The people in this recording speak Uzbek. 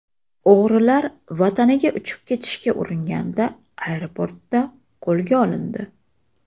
O‘g‘rilar vataniga uchib ketishga uringanda, aeroportda qo‘lga olindi.